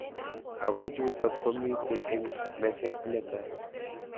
Ako chutok komitei eng meset netai .